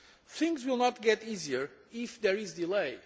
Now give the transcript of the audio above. Things will not get easier if there is a delay.